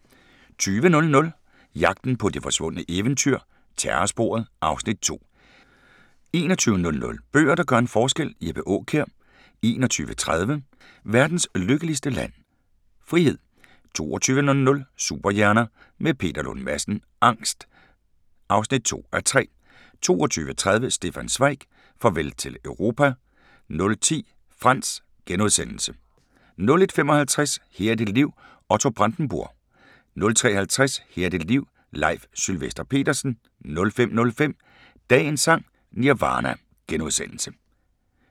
20:00: Jagten på de forsvundne eventyr – Terrorsporet (Afs. 2) 21:00: Bøger, der gør en forskel – Jeppe Aakjær 21:30: Verdens Lykkeligste Land? – Frihed 22:00: Superhjerner – med Peter Lund Madsen: Angst (2:3) 22:30: Stefan Zweig: Farvel til Europa 00:10: Frantz * 01:55: Her er dit liv – Otto Brandenburg * 03:50: Her er dit liv – Leif Sylvester Petersen 05:05: Dagens Sang: Nirvana *